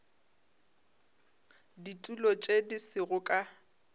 ditulo tše di sego ka